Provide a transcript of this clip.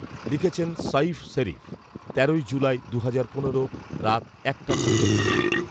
লিখেছেন সাঈফ শেরিফ। তেরোই জুলাই, দুহাজার পনেরো। রাত একটা ছেচল্লিশ